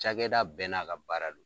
Cagɛda bɛɛ n'a ka baara don.